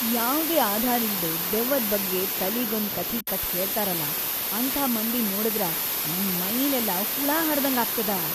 ಯಾವ್ದೇ ಆಧಾರಿಲ್ದೇ ದೆವ್ವದ್‌ ಬಗ್ಗೆ ತಲಿಗೊಂದ್‌ ಕಥಿ ಕಟ್ಟ್ ಹೇಳ್ತಾರಲಾ ಅಂಥ ಮಂದಿನ್ ನೋಡಿದ್ರ ನಂಗ್ ಮೈಲೆಲ್ಲ ಹುಳ ಹರ್ದಂಗ್‌ ಆಗ್ತದ.